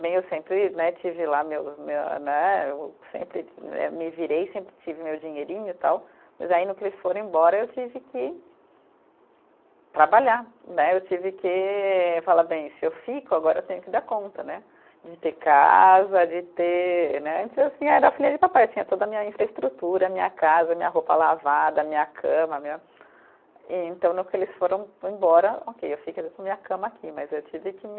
Bem, eu sempre né tive lá meu meu, né, eu sempre né, me virei, sempre tive meu dinheirinho tal, mas aí no que eles foram embora eu tive que trabalhar, né, eu tive que falar, bem, se eu fico agora eu tenho que dar conta, né, de ter casa, de ter, né, antes eu era filha de papai, eu tinha toda a minha infraestrutura, minha casa, minha roupa lavada, minha cama, minha, então no que eles foram embora, ok, eu fico com minha cama aqui, mas eu tive que me